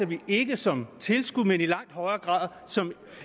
vi ikke som tilskud men i langt højere grad som